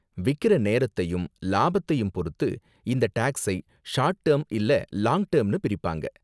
விக்கற நேரத்தையும் லாபத்தையும் பொறுத்து, இந்த டேக்ஸை ஷார்ட் டேர்ம் இல்ல லாங் டேர்ம்னு பிரிப்பாங்க.